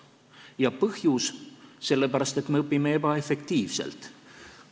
Ja põhjus: me õpime ebaefektiivselt.